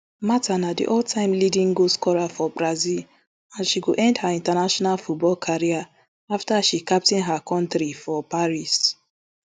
martha na di alltime leading goalscorer for brazil and she go end her international football career afta she captain her kontri for paris